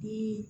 Ni